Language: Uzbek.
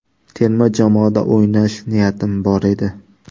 Terma jamoada o‘ynash niyatim bor edi.